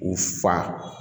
U fa